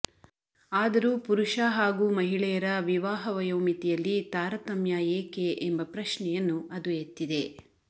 ಆದರೂ ಪುರುಷ ಹಾಗೂ ಮಹಿಳೆಯರ ವಿವಾಹ ವಯೋಮಿತಿಯಲ್ಲಿ ತಾರತಮ್ಯ ಏಕೆ ಎಂಬ ಪ್ರಶ್ನೆಯನ್ನುಅದು ಎತ್ತಿದೆ